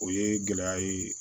O ye gɛlɛya ye